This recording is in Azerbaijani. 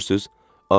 Başa düşürsüz?